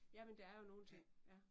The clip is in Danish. Jamen der er jo nogle ting ja